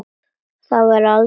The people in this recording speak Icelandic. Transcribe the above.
Ég verð aldrei framar móðir.